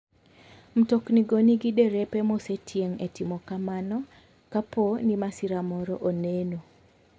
Mtoknigo nigi derepe mosetieg e timo kamano kapo ni masira moro oneno.